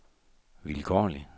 vilkårlig